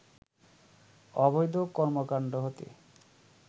অবৈধ কর্মকাণ্ড হতে